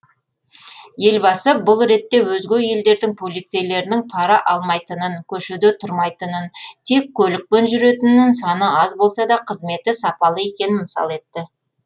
елбасы бұл ретте өзге елдердің полицейлерінің пара алмайтынын көшеде тұрмайтынын тек көлікпен жүретінін саны аз болса да қызметі сапалы екенін мысал етті